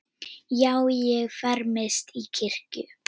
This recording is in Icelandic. Já, ég fermist í kirkju